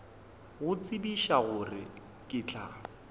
go tsebiša gore ke tla